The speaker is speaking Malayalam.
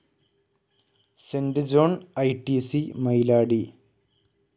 Saint John ITC. മൈലാടി